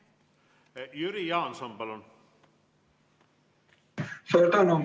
Jüri Jaanson, palun!